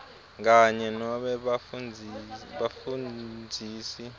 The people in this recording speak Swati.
kanye nobe bafundzisi